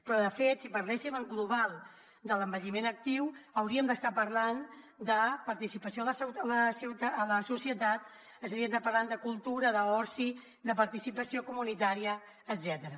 però de fet si parléssim en global de l’envelliment actiu hauríem d’estar parlant de participació en la societat estaríem parlant de cultura d’oci de participació comunitària etcètera